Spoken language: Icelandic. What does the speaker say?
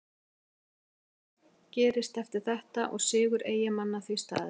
Ekkert markvert gerðist eftir þetta og sigur Eyjamanna því staðreynd.